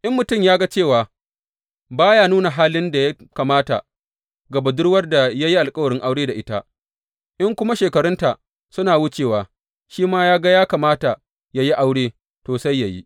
In mutum ya ga cewa ba ya nuna halin da ya kamata ga budurwar da ya yi alkawarin aure da ita, in kuma shekarunta suna wucewa, shi kuma ya ga ya kamata yă yi aure, to, sai yă yi.